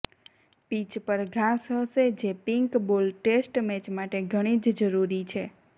pitch પર ઘાસ હશે જે પિંક બોલ ટેસ્ટ મેચ માટે ઘણી જ જરૂરી છે